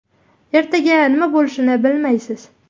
Ertaga nima bo‘lishini bilmaysiz.